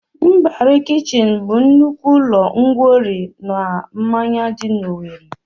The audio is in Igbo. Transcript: Mbari kichin bụ nnukwu ụlọ ńgwọri na mmanya dị na Owerri